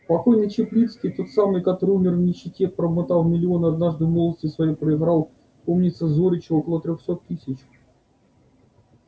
покойный чаплицкий тот самый который умер в нищете промотав миллионы однажды в молодости своей проиграл помнится зоричу около трёхсот тысяч